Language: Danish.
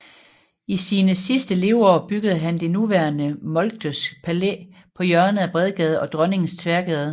I sine sidste leveår byggede han det nuværende Moltkes Palæ på hjørnet af Bredgade og Dronningens Tværgade